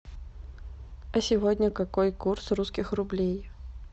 а сегодня какой курс русских рублей